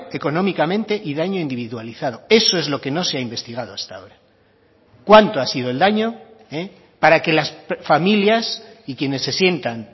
económicamente y daño individualizado eso es lo que no se ha investigado hasta ahora cuánto ha sido el daño para que las familias y quienes se sientan